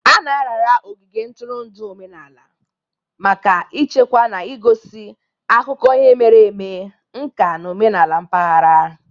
A na-arara ogige ntụrụndụ omenala maka ichekwa na igosi akụkọ ihe mere eme, nka na omenala mpaghara.